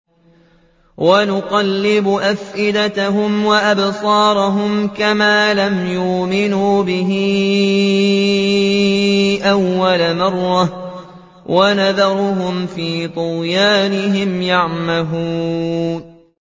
وَنُقَلِّبُ أَفْئِدَتَهُمْ وَأَبْصَارَهُمْ كَمَا لَمْ يُؤْمِنُوا بِهِ أَوَّلَ مَرَّةٍ وَنَذَرُهُمْ فِي طُغْيَانِهِمْ يَعْمَهُونَ